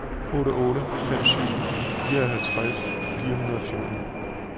otte otte fem syv fireoghalvtreds fire hundrede og fjorten